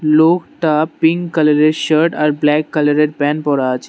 লোকটা pink colour এর shirt আর ব্ল্যাক কালার এর প্যান পরা আছে।